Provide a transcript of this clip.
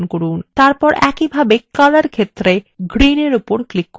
এরপর একইভাবে color ক্ষেত্রে green এর উপর click করুন